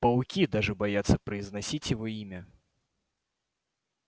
пауки даже боятся произносить его имя